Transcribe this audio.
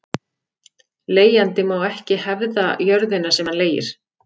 Leigjandi má ekki hefða jörðina sem hann leigir.